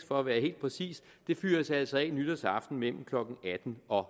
for at være helt præcis fyres altså af nytårsaften mellem klokken atten og